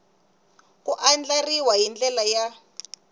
ku andlariwa hi ndlela ya